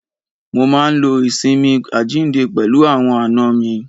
Mo máa ń lo ìsinmi àjíǹde pẹ̀lú àwọn àna mi.